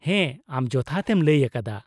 ᱦᱮᱸ, ᱟᱢ ᱡᱚᱛᱷᱟᱛ ᱮᱢ ᱞᱟᱹᱭ ᱟᱠᱟᱫᱟ ᱾